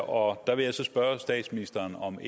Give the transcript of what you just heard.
og der vil jeg spørge statsministeren om